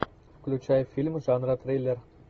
включай фильм жанра триллер